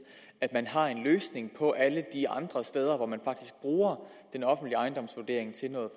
at man har en løsning på alle de andre steder hvor man faktisk bruger den offentlige ejendomsvurdering til noget